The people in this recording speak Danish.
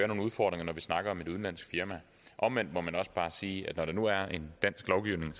nogle udfordringer når vi snakker om et udenlandsk firma omvendt må man også bare sige at når der nu er en dansk lovgivning